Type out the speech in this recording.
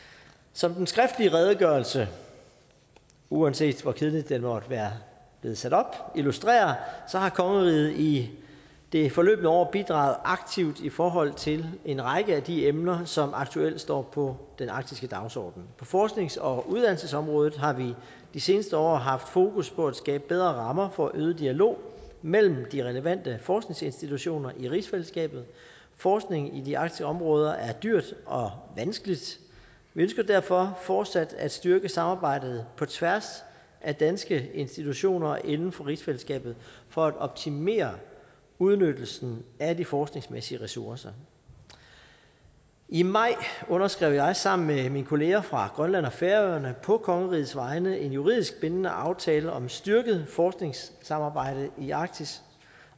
som den skriftlige redegørelse uanset hvor kedeligt den måtte være sat op illustrerer har kongeriget i det forløbne år bidraget aktivt i forhold til en række af de emner som aktuelt står på den arktiske dagsorden på forsknings og uddannelsesområdet har vi de seneste år haft fokus på at skabe bedre rammer for øget dialog mellem de relevante forskningsinstitutioner i rigsfællesskabet forskning i de arktiske områder er dyrt og vanskeligt vi ønsker derfor fortsat at styrke samarbejdet på tværs af danske institutioner inden for rigsfællesskabet for at optimere udnyttelsen af de forskningsmæssige ressourcer i maj underskrev jeg sammen med mine kolleger fra grønland og færøerne på kongerigets vegne en juridisk bindende aftale om styrket forskningssamarbejde i arktis